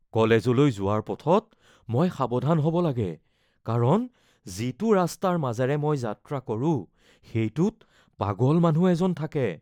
কলেজলৈ যোৱাৰ পথত মই সাৱধান হ’ব লাগে কাৰণ যিটো ৰাস্তাৰ মাজেৰে মই যাত্ৰা কৰো সেইটোত পাগল মানুহ এজন থাকে।